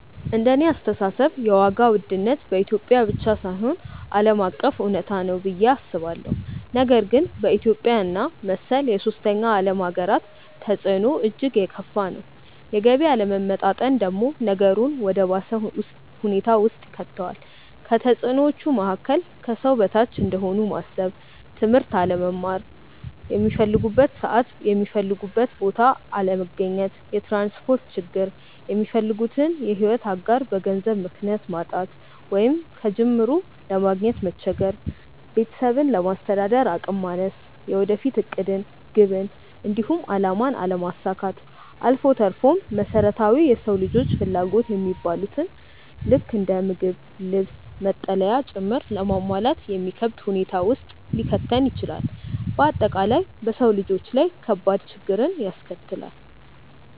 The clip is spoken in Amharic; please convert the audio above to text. እንደኔ አስተሳሰብ የዋጋ ውድነት በኢትዮጵያ ብቻ ሳይሆን ዓለም አቀፍ እውነታ ነው ብዬ አስባለሁ፤ ነገር ግን በኢትዮጵያ እና መሰል የሶስተኛ ዓለም ሃገራት ተፅዕኖው እጅግ የከፋ ነው። የገቢ አለመመጣጠን ደግሞ ነገሩን ወደ ባሰ ሁኔታ ውስጥ ይከተዋል። ከተፅዕኖዎቹ መካከል፦ ከሰው በታች እንደሆኑ ማሰብ፣ ትምህርት አለመማር፣ ሚፈልጉበት ሰዓት የሚፈልጉበት ቦታ አለመገኘት፣ የትራንስፖርት ችግር፣ የሚፈልጉትን የሕይወት አጋር በገንዘብ ምክንያት ማጣት ወይንም ከጅምሩ ለማግኘት መቸገር፣ ቤተሰብን ለማስተዳደር አቅም ማነስ፣ የወደፊት ዕቅድን፣ ግብን፣ እንዲሁም አላማን አለማሳካት አልፎ ተርፎም መሰረታዊ የሰው ልጆች ፍላጎት የሚባሉትን ልክ እንደ ምግብ፣ ልብስ፣ መጠለያ ጭምር ለማሟላት የሚከብድ ሁኔታ ውስጥ ሊከተን ይችላል። በአጠቃላይ በሰው ልጆች ላይ ከባድ ችግርን ያስከትላል።